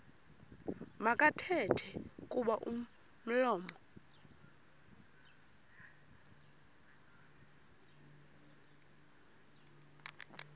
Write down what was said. makathethe kuba umlomo